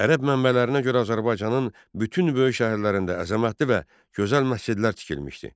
Ərəb mənbələrinə görə Azərbaycanın bütün böyük şəhərlərində əzəmətli və gözəl məscidlər tikilmişdi.